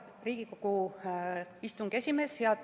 Hea Riigikogu istungi juhataja!